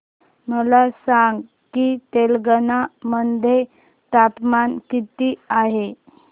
मला सांगा की तेलंगाणा मध्ये तापमान किती आहे